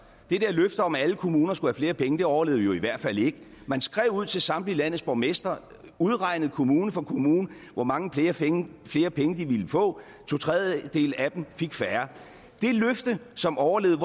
det der løfte om at alle kommuner skulle have flere penge overlevede jo i hvert fald ikke man skrev ud til samtlige landets borgmestre udregnede kommune for kommune hvor mange flere penge de ville få to tredjedele af dem fik færre det løfte som overlevede